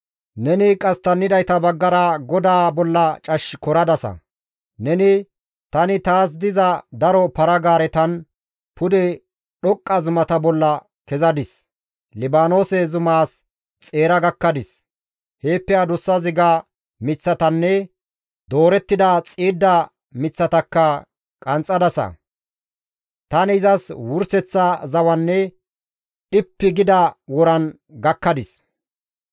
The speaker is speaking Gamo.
Neni qasttannidayta baggara Godaa bolla cash koradasa. Neni, ‹Tani taas diza daro para-gaaretan pude dhoqqa zumata bolla kezadis; Libaanoose zumaas xeera gakkadis; heeppe adussa ziga miththatanne doorettida xiidda miththatakka qanxxadasa; Tani izas wurseththa zawanne dhippi gida woran gakkadis.